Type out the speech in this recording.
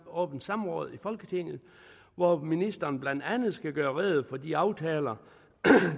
åbent samråd i folketinget hvor ministeren blandt andet skal gøre rede for de aftaler